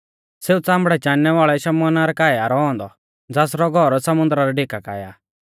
सेऊ च़ामड़ै चाणनै वाल़ै शमौना रै काऐ आ रौ औन्दौ ज़ासरौ घौर समुन्दरा रै डिका काऐ आ